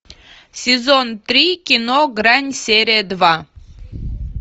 сезон три кино грань серия два